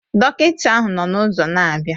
Dọkịta ahụ nọ n'ụzọ na-abịa